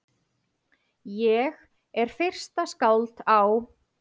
Ég er fyrsta skáld á